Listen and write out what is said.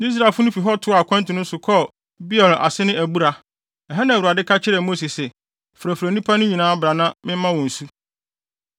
Israelfo no fi hɔ toaa wɔn akwantu no so kɔɔ Beer a ase ne “Abura.” Ɛha na Awurade ka kyerɛɛ Mose se, “Frɛfrɛ nnipa no nyinaa bra na mɛma wɔn nsu.”